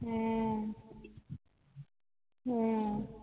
হম হম